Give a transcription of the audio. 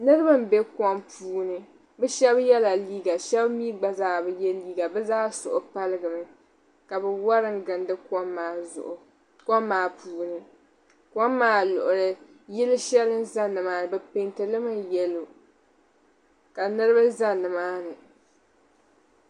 niriba m-be puuni bɛ shɛba yɛla liiga ka shɛba mi gba zaa bi liiga bɛ zaa suhu paligimi ka bɛ wara n-gindi kom maa puuni kom maa luɣili yili shɛli n-za ni maani bɛ peenti li mi yɛlo ka niriba za ni maani